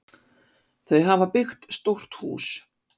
Þau hafa byggt stórt hús.